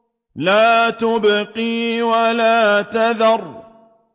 لَا تُبْقِي وَلَا تَذَرُ